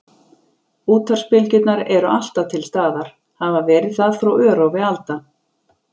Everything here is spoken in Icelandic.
Útvarpsbylgjurnar eru alltaf til staðar, hafa verið það frá örófi alda.